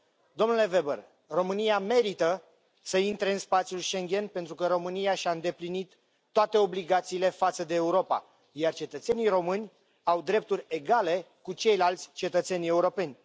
Domnule Weber, România merită să intre în spațiul Schengen, pentru că România și a îndeplinit toate obligațiile față de Europa, iar cetățenii români au drepturi egale cu ceilalți cetățeni europeni.